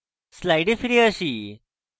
slides ফিরে আসি